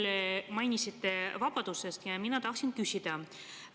Te mainisite vabadust ja mina tahaksin küsida.